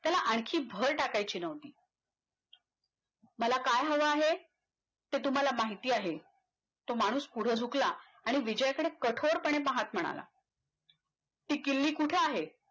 त्याला आणखी भर टाकायची नव्हती मला काय हवं आहे ते तुम्हाला माहिती आहे तो माणूस पुढ झुकला आणि विजय कडे कठोरपणे पाहत म्हणाला ती किल्ली कुठं आहे